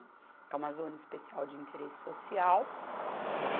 É uma zona especial de interesse social.